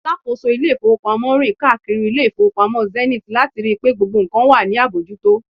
alákóso ilé ifowópamọ́ rin kaakiri ile ifowopamọ Zenith lati ri pe gbogbo nkan wa ni abojuto